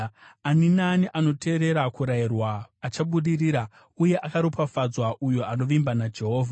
Ani naani anoteerera kurayirwa achabudirira, uye akaropafadzwa uyo anovimba naJehovha.